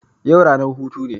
Yau ranar hutu ne